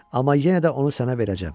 Amma yenə də onu sənə verəcəm.